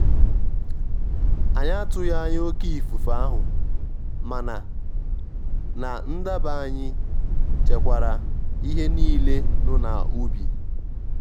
ànyị́ àtụghí ányá óké ífúfé áhụ́ máná ná ndábá ànyị́ chékwàrá íhé níilé nụ́ ná úbí.